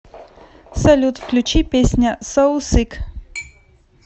салют включи песня соу сик